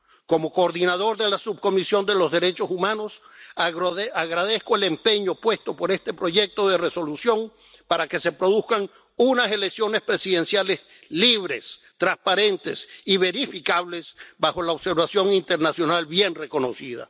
Como coordinador de la Subcomisión de Derechos Humanos, agradezco al empeño puesto por este proyecto de Resolución para que se produzcan unas elecciones presidenciales libres, transparentes y verificables, bajo la observación internacional bien reconocida.